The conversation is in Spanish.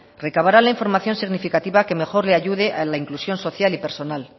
recabará la información significativa que mejor le ayude a la inclusión social y personal